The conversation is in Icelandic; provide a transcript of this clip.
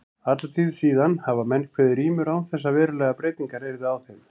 Alla tíð síðan hafa menn kveðið rímur án þess að verulegar breytingar yrðu á þeim.